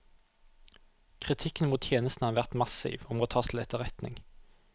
Kritikken mot tjenesten har vært massiv og må tas til etterretning.